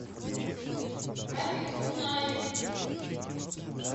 рафик кунаев